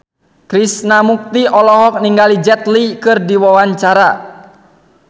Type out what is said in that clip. Krishna Mukti olohok ningali Jet Li keur diwawancara